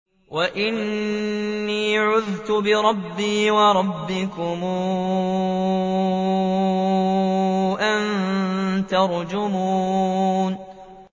وَإِنِّي عُذْتُ بِرَبِّي وَرَبِّكُمْ أَن تَرْجُمُونِ